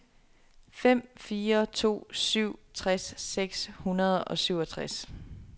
fem fire to syv tres seks hundrede og syvogtres